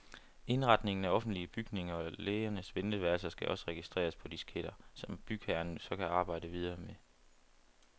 Indretningen af offentlige bygninger og lægers venteværelser skal også registreres på disketter, som bygherrer så kan arbejde videre med.